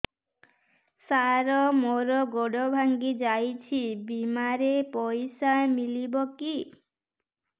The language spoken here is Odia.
ସାର ମର ଗୋଡ ଭଙ୍ଗି ଯାଇ ଛି ବିମାରେ ପଇସା ମିଳିବ କି